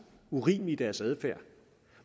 urimelige i deres adfærd